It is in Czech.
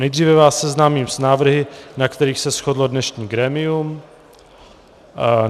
Nejdříve vás seznámím s návrhy, na kterých se shodlo dnešní grémium.